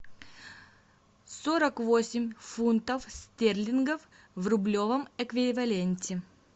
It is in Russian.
сорок восемь фунтов стерлингов в рублевом эквиваленте